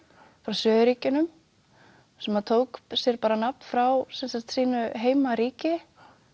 frá suðurríkjunum sem tók sér bara nafn frá sínu heimaríki